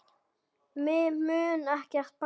Mig mun ekkert bresta.